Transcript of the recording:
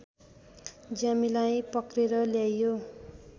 ज्यामीलाई पक्रेर ल्याइयो